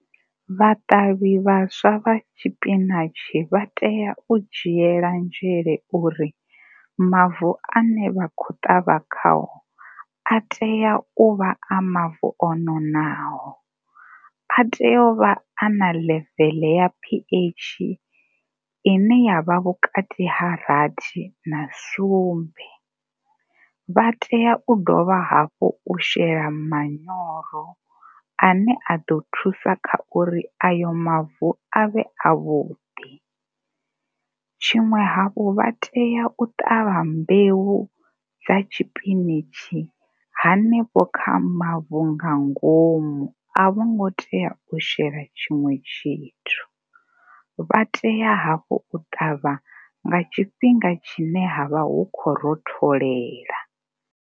Vhaṱavhi vhaswa vha tshipinatshi vha tea u dzhiela nzhele uri mavu ane vha khou ṱavha khao a tea u vha a mavu o nonaho. A tea u vha na level ya PH i ne ya vha vhukati ha rathi na sumbe. Vha tea u dovha hafhu u shela manyoro a ne a ḓo thusa kha uri ayo mavu a vhe avhuḓi. Tshiṅwe hafhu, vha tea u ṱavha mbeu dza tshipitshi hanefho kha mavu nga ngomu, a vhongo tea u shela tshiṅwe tshithu. Vha tea hafhu u ṱavha nga tshifhinga tshine ha vha hu khou rotholela.